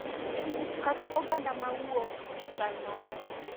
Kata oganda ma wuok e chal maber.